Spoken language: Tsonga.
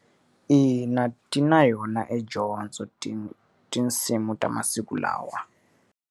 Ina, ti na yona edyondzo ti tinsimu ta masiku lawa.